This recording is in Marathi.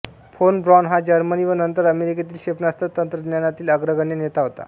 फोन ब्रॉन हा जर्मनी व नंतर अमेरिकेतील क्षेपणास्त्र तंत्रज्ञानातील अग्रगण्य नेता होता